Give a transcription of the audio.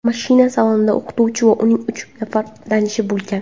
Mashina salonida o‘qituvchi va uning uch nafar tanishi bo‘lgan.